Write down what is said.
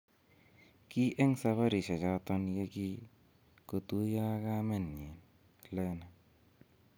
Ki en sabarisiechoton ye kin kotuiyo ak kamenyin, Lene.